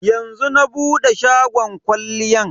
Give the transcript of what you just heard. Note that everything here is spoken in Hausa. Yanzu na bude shagon kwalliyan.